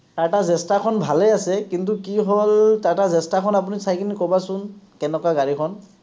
TATA Zesta খন ভালেই আছে, কিন্তু কি হ’ল, TATA Zesta আপুনি চাই কেনি ক’বাচোন, কেনেকুৱা গাড়ীখন।